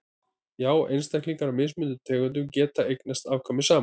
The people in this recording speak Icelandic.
já einstaklingar af mismunandi tegundum geta eignast afkvæmi saman